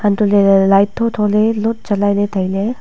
hantole le light tho tho lot jalai le taile.